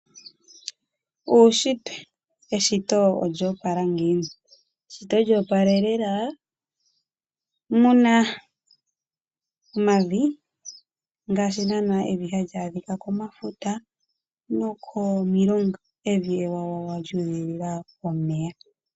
Uunshitwe Eshito olyo opala ngiini? Eshito lyo opalelela. Mu na omavi ngaashi naanaa evi hali adhika komafuta nokomilonga. Evi ewawawa lyu udhilila omeya.